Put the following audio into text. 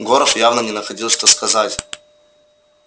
горов явно не находил что сказать